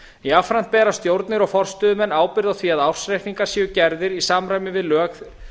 jafnframt bera stjórnir og forstöðumenn ábyrgð á því að ársreikningar séu gerðir í samræmi við lög